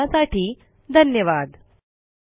सहभागासाठी धन्यवाद